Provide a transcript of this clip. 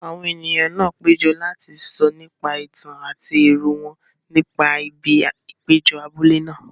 Àwọn ènìyàn náà péjọ láti sọ nípa ìtàn àti èrò wọn nípa ibi ìpéjọ abúlé náà.